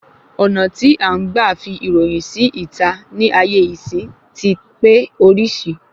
Ọ̀nà tí à ń gbà fi ìròyìn sí ìta ní ayé ìsín ti pé orísìí